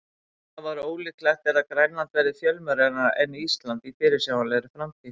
Afar ólíklegt er að Grænland verði fjölmennara en Ísland í fyrirsjáanlegri framtíð.